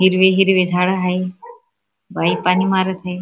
हिरवे हिरवे झाड हाय बाई पाणी मारत आहे.